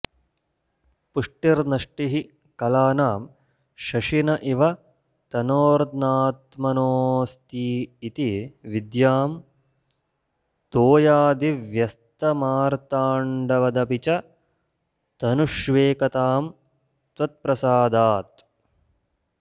पुष्टिर्नष्टिः कलानां शशिन इव तनोर्नात्मनोऽस्तीति विद्यां तोयादिव्यस्तमार्ताण्डवदपि च तनुष्वेकतां त्वत्प्रसादात्